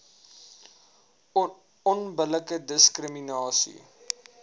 onbillike diskri minasie